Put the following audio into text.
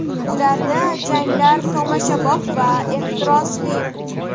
Ularda janglar tomoshabob va ehtirosli.